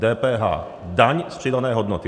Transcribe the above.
DPH, daň z přidané hodnoty.